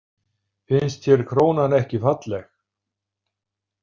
Finnst þér krónan ekki falleg?